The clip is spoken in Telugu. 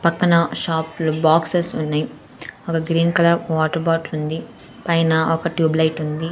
పక్కన షాప్ లో బాక్సెస్ ఉన్నాయి ఒక గ్రీన్ కలర్ వాటర్ బాటిల్ ఉంది పైన ఒక ట్యూబ్ లైట్ ఉంది.